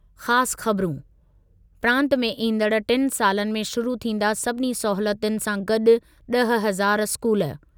ख़ासि ख़बरूं, प्रांतु में ईंदड़ टिनि सालनि में शुरु थींदा सभिनी सहूलियतुनि सां गॾु ॾह हज़ार स्कूल।